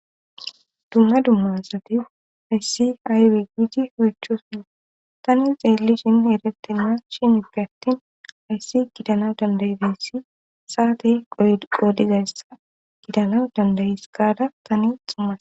Dumma dumma asati hayssi aybe gidi oychidoson tani xeelli shin eretten ma shin igge attin ayssi gidana dandayi bissi saate qolizayssa gidana dandayis gaada tani xumas.